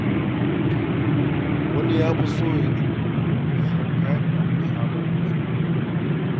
Wani ya fi son ya dinga sayen kayan da aka samar na cikin gida.